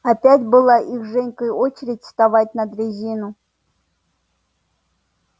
опять была их с женькой очередь вставать на дрезину